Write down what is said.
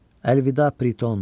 Əlvida Priton.